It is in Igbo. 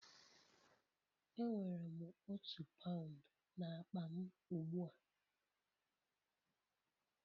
Enwere m otu paụnd n'akpa m ugbu a